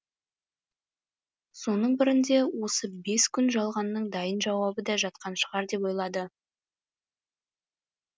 соның бірінде осы бес күн жалғанның дайын жауабы да жатқан шығар деп ойлады